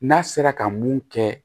N'a sera ka mun kɛ